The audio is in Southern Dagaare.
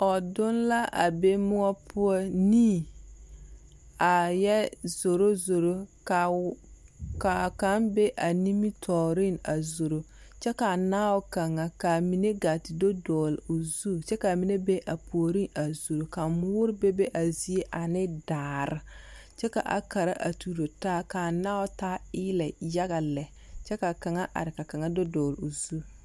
Mͻdonne la a be mõͻ poͻ. Nii a yԑ zoro. Ka wԑnii meŋa, ka a kaŋa be a nimitͻͻreŋ a zoro, kyԑ ka a naabo kaŋa ka a mine gaa te do dͻgele o zu kyԑ ka a mine be a puoriŋ a zoro. Ka a mõõre bebe a zie ane daare kyԑ ka a kara a tuuro taa. ka a naao taa eelԑ yaga lԑ kyԑ ka kaŋa are ka kaŋa do dͻgele o zu.